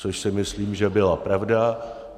Což si myslím, že byla pravda.